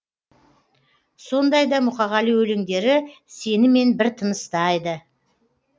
сондай да мұқағали өлеңдері сенімен бір тыныстайды